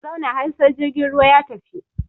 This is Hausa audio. Ka zauna har sai jirgin ruwa ya tafi!